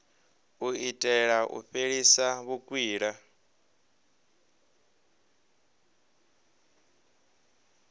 u itela u fhelisa vhukwila